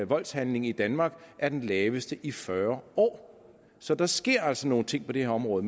voldshandling i danmark er den laveste i fyrre år så der sker altså nogle ting på det her område